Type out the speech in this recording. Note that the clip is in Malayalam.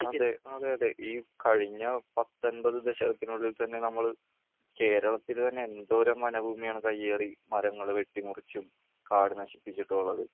അത് അതെ അതെ ഈ കഴിഞ്ഞ പത്തൻപത് ദശകത്തിനുള്ളിൽ തന്നെ നമ്മള് കേരളത്തില് തന്നെ എന്തോരം വനഭൂമിയാണ് കയ്യേറി മരങ്ങള് വെട്ടിമുറിച്ചും കാട് നശിപ്പിച്ചിട്ടുമുള്ളത്.